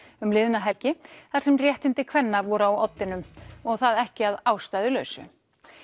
um liðna helgi þar sem réttindi kvenna voru á oddinum og það ekki að ástæðulausu